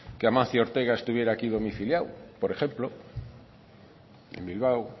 que amancio ortega estuviera aquí domiciliado por ejemplo en bilbao